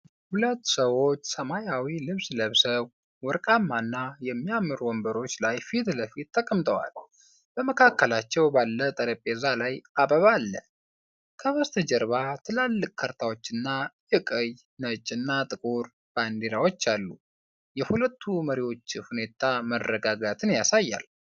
ሁለት ሰዎች ሰማያዊ ልብስ ለብሰው ወርቃማ እና የሚያምር ወንበሮች ላይ ፊት ለፊት ተቀምጠዋል። በመካከላቸው ባለው ጠረጴዛ ላይ አበባ አለ፤ ከበስተጀርባ ትላልቅ ካርታዎችና የቀይ፣ ነጭ እና ጥቁር ባንዲራወች አሉ፤ የሁለቱ መሪዎች ሁኔታ መረጋጋትን ያሳያል።